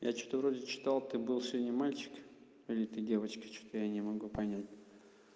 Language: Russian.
я что-то вроде читал ты был сегодня мальчик или ты девочка что-то я не могу понять